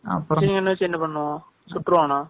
Machine gun ன வச்சு என்ன பண்ணுவான் சுற்றுப்பானா?